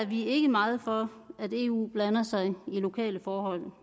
vi ikke meget for at eu blander sig i lokale forhold